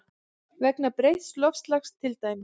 Vegna breytts loftslags til dæmis?